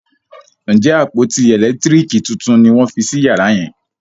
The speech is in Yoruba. Njé àpótí elekitiriki títún ní wón fí sí yàrá yen?